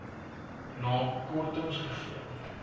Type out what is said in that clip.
na kortings gegee